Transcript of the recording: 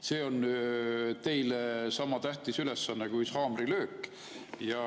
See on teile sama tähtis ülesanne kui haamrilöök.